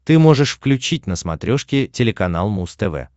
ты можешь включить на смотрешке телеканал муз тв